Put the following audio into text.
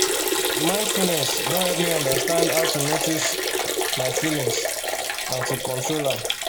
mindfulness don help me understand how to notice um my feelings and to control am